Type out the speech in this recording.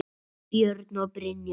Björn og Brynja.